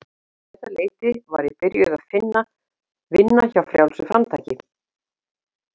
Um þetta leyti var ég byrjuð að vinna hjá Frjálsu framtaki.